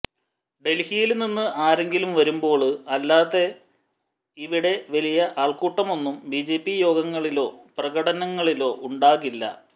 ഡല്ഹിയില് നിന്ന് ആരെങ്കിലും വരുമ്പോള് അല്ലാതെ ഇവിടെ വലിയ ആള്ക്കൂട്ടമൊന്നും ബിജെപി യോഗങ്ങളിലോ പ്രകടനങ്ങളിലോ ഉണ്ടാകില്ല